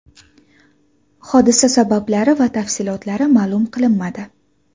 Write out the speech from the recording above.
Hodisa sabablari va tafsilotlari ma’lum qilinmadi.